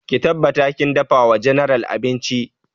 Ki tabbata kin dafa wa general abinci!